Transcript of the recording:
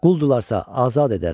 Quldularsa azad edərəm.